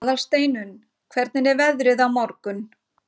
Aðalsteinunn, hvernig er veðrið á morgun?